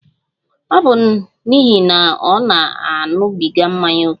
Ọ bụ n'ihi na ọ na-aṅụbiga mmanya ókè.